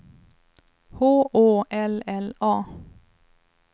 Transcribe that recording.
H Å L L A